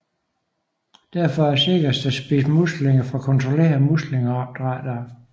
Derfor er det sikrest at spise muslinger fra kontrollerede muslingeopdrættere